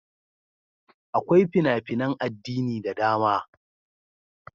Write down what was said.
Akwai fina-finan addini da dama.